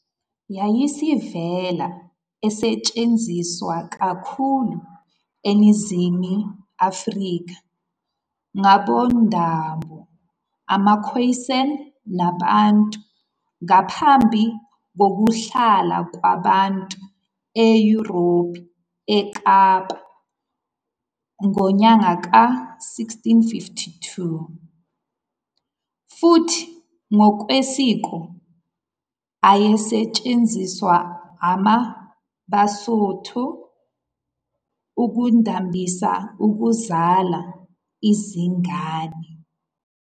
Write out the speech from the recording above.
Yayisivele isetshenziswa kakhulu eNingizimu Afrika ngabomdabu amaKhoisan namaBantu ngaphambi kokuhlala kwabantu eYurophu eKapa ngonyaka ka-1652, futhi ngokwesiko ayesetshenziswa ama- Basotho ukudambisa ukuzala izingane.